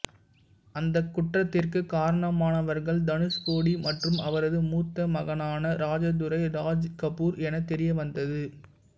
அந்த குற்றத்திற்கு காரணமானவர்கள் தனுஷ்கோடி மற்றும் அவரது மூத்த மகனான ராஜதுரை ராஜ்கபூர் எனத் தெரியவந்தது